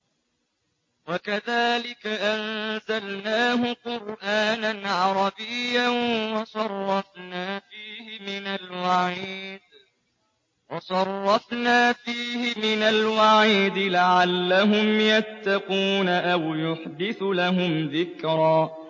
وَكَذَٰلِكَ أَنزَلْنَاهُ قُرْآنًا عَرَبِيًّا وَصَرَّفْنَا فِيهِ مِنَ الْوَعِيدِ لَعَلَّهُمْ يَتَّقُونَ أَوْ يُحْدِثُ لَهُمْ ذِكْرًا